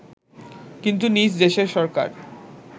কিন্তু নিজ দেশের সরকার